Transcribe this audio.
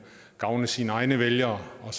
gavne sine egne vælgere og